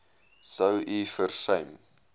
sou u versuim